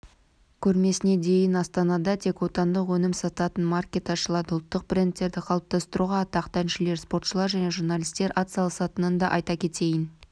көрмесіне дейін астанада тек отандық өнім сататын маркет ашылады ұлттық брендтерді қалыптастыруға атақты әншілер спортшылар және журналистер атсалысатынын да айта кетейін